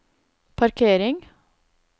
parkering